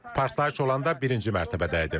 Partlayış olanda birinci mərtəbədə idim.